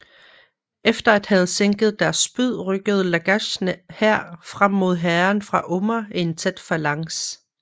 Efter at have sænket deres spyd rykkede Lagash hær frem mod hæren fra Umma i en tæt falanks